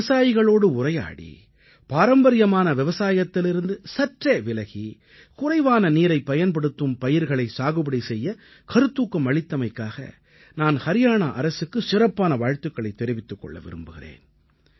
விவசாயிகளோடு உரையாடி பாரம்பரியமான விவசாயத்திலிருந்து சற்றே விலகி குறைவான நீரைப் பயன்படுத்தும் பயிர்களை சாகுபடி செய்யக் கருத்தூக்கம் அளித்தமைக்காக நான் ஹரியாணா அரசுக்கு சிறப்பான வாழ்த்துக்களைத் தெரிவித்துக் கொள்ள விரும்புகிறேன்